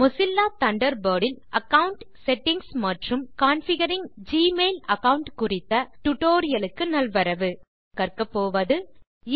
Mozilla Thunderbird இல் account settings மற்றும் configuring Gmail account குறித்த டுடோரியலுக்கு நல்வரவு இந்த டியூட்டோரியல் இல் கற்கப்போவது